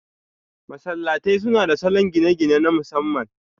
Masallatai suna da salon gine-gine na masamman.